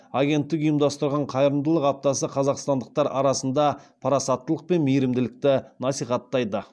агенттік ұйымдастырған қайырымдылық аптасы қазақстандықтар арасында парасаттылық пен мейірімділікті насихаттайды